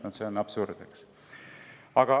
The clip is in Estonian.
No see on absurd!